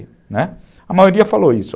Né, a maioria falou isso.